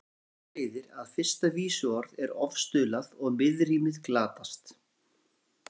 Af þessu leiðir að fyrsta vísuorð er ofstuðlað og miðrímið glatast.